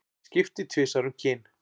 Skipti tvisvar um kyn